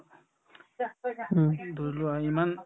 ধৰি লোৱা ইমান